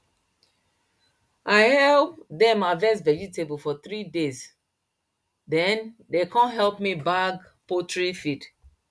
i help dem harvest vegetable for three days then dem com help me bag poultry feed